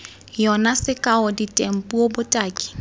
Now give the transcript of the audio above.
yona sekao diteng puo botaki